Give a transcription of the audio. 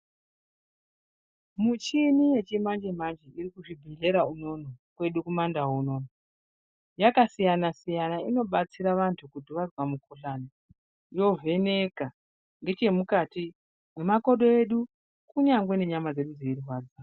Muchini yechimanje-manje irkuzvibhedhlera unono kwedu kumandau unono yakasiyana-siyana inobatsira vantu kuti vazwa mukhuhlani yovheneka ngechemukati, nemakodo edu kunyange nenyama dzedu dzirwadza.